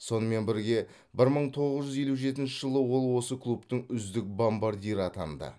сонымен бірге бір мың тоғыз жүз елу жетінші жылы ол осы клубтың үздік бомбардирі атанды